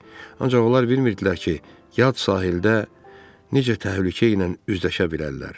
Ancaq onlar bilmirdilər ki, yad sahildə necə təhlükə ilə üzləşə bilərlər.